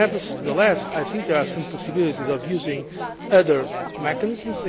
Nevertheless, I think there are some possibilities of using other mechanisms.